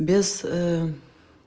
без